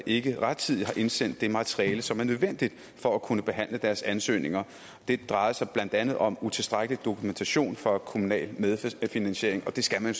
ikke rettidigt har indsendt det materiale som er nødvendigt for at kunne behandle deres ansøgninger det drejer sig blandt andet om utilstrækkelig dokumentation for kommunal medfinansiering og det skal man